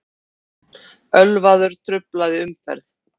Ölvaður truflaði umferð